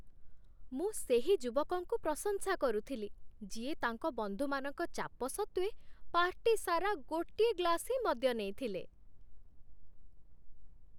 ମୁଁ ସେହି ଯୁବକକୁ ପ୍ରଶଂସା କରୁଥିଲି, ଯିଏ ତାଙ୍କ ବନ୍ଧୁମାନଙ୍କ ଚାପ ସତ୍ତ୍ୱେ, ପାର୍ଟି ସାରା ଗୋଟିଏ ଗ୍ଲାସ୍ ହିଁ ମଦ୍ୟ ନେଇଥିଲେ।